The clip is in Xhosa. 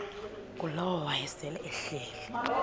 ngulowo wayesel ehleli